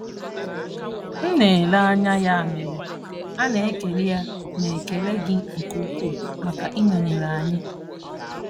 M na-ele anya ya mere, a na-ekele a na-ekele gị nke ukwuu maka ị nọnyere anyị.